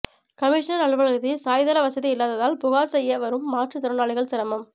commissioner அலுவலகத்தில் சாய்தள வசதி இல்லாததால் புகார் செய்ய வரும் மாற்று திறனாளிகள் சிரமம்